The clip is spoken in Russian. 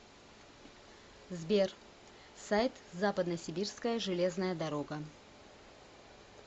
сбер сайт западносибирская железная дорога